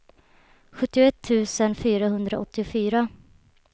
sjuttioett tusen fyrahundraåttiofyra